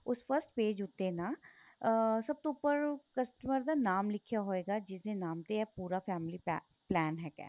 ਉਸ first page ਉੱਤੇ ਨਾ ਅਹ ਸਭ ਤੋਂ ਉੱਪਰ customer ਦਾ ਨਾਮ ਲਿਖਿਆ ਹੋਏਗਾ ਜਿਸ ਦੇ ਨਾਮ ਤੇ ਪੂਰਾ family pack plan ਹੈਗਾ